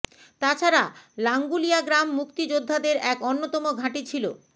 তাছাড়া লাঙ্গুলিয়া গ্রাম মুক্তিযুদ্ধাদের এক অন্যতম ঘাঁটি ছিল